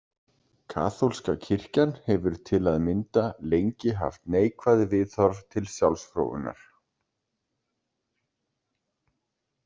Kaþólska kirkjan hefur til að mynda lengi haft neikvæð viðhorf til sjálfsfróunar.